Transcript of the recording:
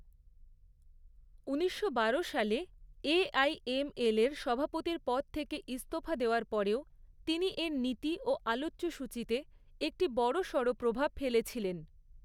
ঊনিশশো বারো সালে এ.আই.এম.এলের সভাপতির পদ থেকে ইস্তফা দেওয়ার পরেও তিনি এর নীতি ও আলোচ্যসূচীতে একটি বড়সড় প্রভাব ফেলেছিলেন।